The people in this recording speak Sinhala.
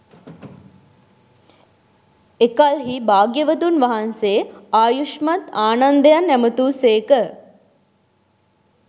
එකල්හී භාග්‍යවතුන් වහන්සේ ආයුෂ්මත් ආනන්දයන් ඇමතූ සේක